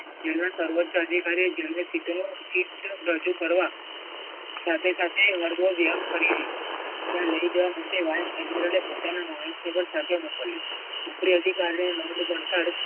જેમાં સર્વોચ્ચ અધિકારી જેમણે સીધો ચિફટ રજૂ કરવા સાથે સાથે વર્ગો વ્યાયામ કરી લીધો. લઈ જવા માટે વાહન એમબરલો એ પોતાના માણસને તેની સાથે મોકલ્યો. ઉપરી અધિકારીને